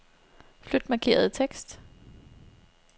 Flyt markerede tekst.